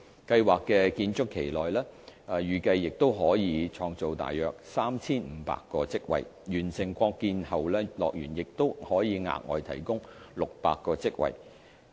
計劃的建築期內預計可創造大約 3,500 個職位，完成擴建後樂園亦可額外提供600個職位。